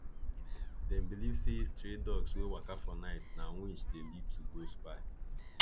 them believe say stray dogs wey waka for night na witch dey lead to go spy